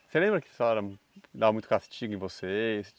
Você lembra se ela dava muito castigo em vocês?